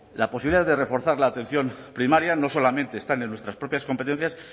la posibilidad de reforzar la atención primaria no solamente está en nuestras propias competencias sino